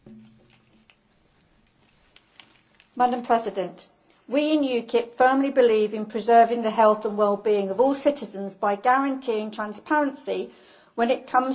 Madam President, we in UKIP firmly believe in preserving the health and well being of all citizens by guaranteeing transparency when it comes to the ingredients of the food they consume.